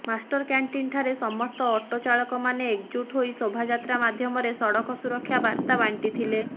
master କ୍ୟାଷ୍ଟିନ୍ଠାରେ ସମସ୍ତ auto ଚାଳକମାନେ ଏକଜୁଟ୍ ହୋଇ ଶୋଭାଯାତ୍ରା ମାଧ୍ୟମରେ ସଡ଼କ ସୁରକ୍ଷା ବାର୍ତା ବାଣ୍ଟିଥିଲେ